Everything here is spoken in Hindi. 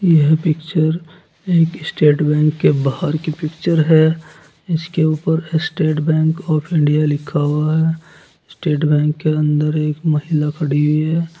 यह पिक्चर एक स्टेट बैंक के बाहर की पिक्चर है इसके ऊपर स्टेट बैंक ऑफ इंडिया लिखा हुआ है स्टेट बैंक के अंदर एक महिला खड़ी हुई है।